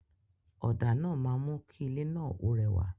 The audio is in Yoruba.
Ọ̀dà náà máa mú kí ilé náà ó rewa